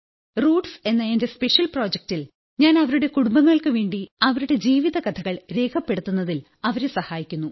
roots എന്ന എന്റെ special പ്രോജക്ടിൽ ഞാൻ അവരുടെ കുടുംബങ്ങൾക്കുവേണ്ടി അവരുടെ ജീവിത കഥകൾ രേഖപ്പെടുത്തുന്നതിൽ അവരെ സഹായിക്കുന്നു